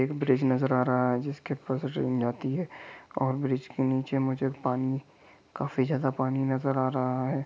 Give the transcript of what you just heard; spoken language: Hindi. एक ब्रिज नजर आ रहा है जिसके उपर से ट्रेन जाती है और ब्रिज के नीचे में जो पानी काफी ज्यादा पानी नजर आ रहा है।